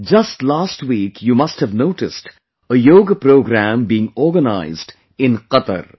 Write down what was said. Just last week you must have noticed a Yoga program being organized in Qatar